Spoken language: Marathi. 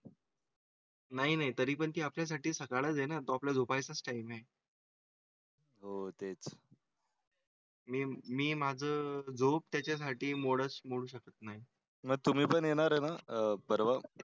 नाही नाही तरी पण त्यासाठी सकाळी आहे ना तो आपला झोपायचा टाइम आहे. होतेच. मी माझं झोप त्याच्या साठी मोडस मोडू शकत नाही. मग तुम्ही पण येणार ना? परवा.